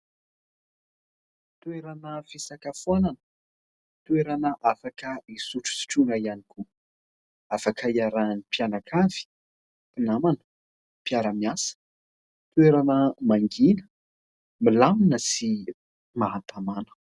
Toerana fisakafoanana, toerana afaka isotrosotroana ihany koa, afaka hiarahan'ny mpianakavy, mpinamana, mpiara-miasa. Toerana mangina, milamina sy mahatamana.